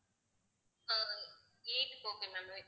அஹ் eight க்கு okay ma'am